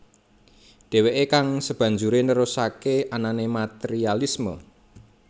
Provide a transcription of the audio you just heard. Deweke kang sebanjure nerusake anane materialisme